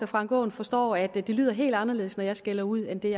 frank aaen forstår at det lyder helt anderledes når jeg skælder ud end den